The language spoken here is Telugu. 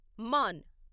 మాన్